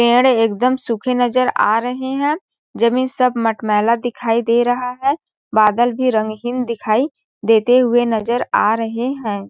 पेड़ एकदम सूखे नज़र आ रहे है जमींन सब मट मैला दिखाई दे रहा है बादल भी रंगहिन दिखाई देते हुए नज़र आ रहे है।